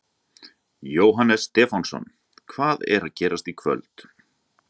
Jóhannes Stefánsson: Hvað er að gerast í kvöld?